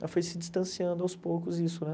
Ela foi se distanciando aos poucos isso, né?